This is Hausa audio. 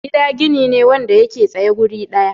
Gida gini ne wanda yake tsaye wuri daya.